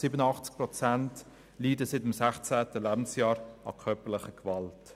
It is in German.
87 Prozent leiden seit dem sechszehnten Lebensjahr an körperlicher Gewalt.